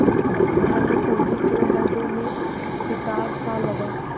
भानुकुँवरि के हृदय में कुठारसा लगा